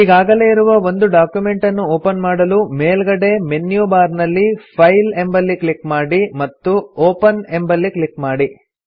ಈಗಾಗಲೇ ಇರುವ ಒಂದು ಡಾಕ್ಯುಮೆಂಟನ್ನು ಒಪನ್ ಮಾಡಲು ಮೇಲ್ಗಡೆ ಮೆನ್ಯು ಬಾರ್ ನಲ್ಲಿ ಫೈಲ್ ಎಂಬಲ್ಲಿ ಕ್ಲಿಕ್ ಮಾಡಿ ಮತ್ತು ಒಪೆನ್ ಎಂಬಲ್ಲಿ ಕ್ಲಿಕ್ ಮಾಡಿ